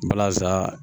Balaza